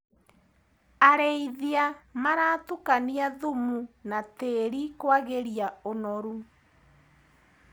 Arĩithia maratukania thumu na tĩri kwagĩria ũnoru.